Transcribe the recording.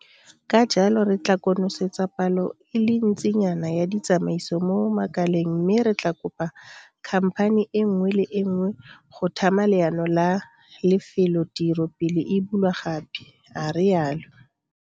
Ka jalo re tla konosetsa palo e le ntsinyana ya ditsamaiso mo makaleng mme re tla kopa khamphani e nngwe le e nngwe go tlhama leano la lefelotiro pele e bulwa gape, a rialo.